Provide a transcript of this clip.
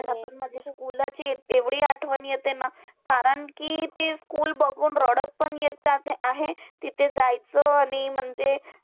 मला पण माझ्या school ची एवढी आठवण येते ना, कारण कि ते school बघून रडत पण येत जाते आहे. तिथे जायचं आणि म्हणजे